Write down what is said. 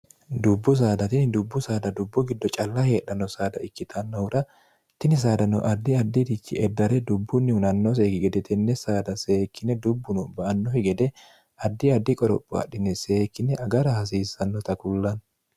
dubbu saada tini dubbu saada dubbu giddo calla heedhanno saada ikkitannohura tini saadano addi addirichi eddare dubbunni hunanno seeki gede tenne saada seekkine dubbuno ba annofi gede addi addi qoropho adhine seekkine agara hasiissannota kullanno